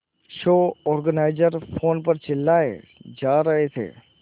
show organiser phone पर चिल्लाए जा रहे थे